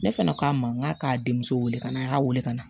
Ne fana k'a ma n k'a k'a denmuso weele ka na a y'a wele ka na